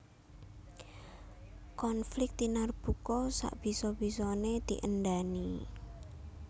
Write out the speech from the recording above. Konflik tinarbuka sak bisa bisané diendhani